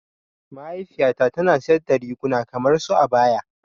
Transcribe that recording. Mahaifiya ta tana siyar da riguna kamar su abaya.